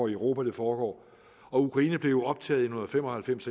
i europa det foregår og ukraine blev jo optaget i nitten fem og halvfems